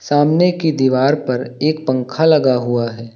सामने की दीवार पर एक पंखा लगा हुआ है।